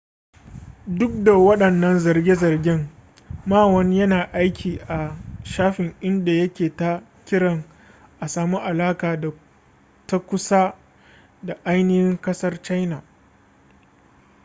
duk da wadannan zarge-zargen ma won yana aiki a shafin inda yake ta kiran a samu alaka ta kusa da ainihin kasar china